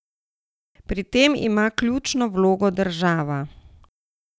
Pri tej ima ključno vlogo država.